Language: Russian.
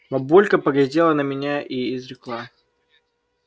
бабулька поглядела на меня и изрекла